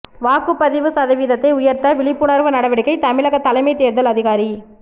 வாக்குப்பதிவு சதவீதத்தை உயா்த்த விழிப்புணா்வு நடவடிக்கை தமிழகத் தலைமைத் தோ்தல் அதிகாரி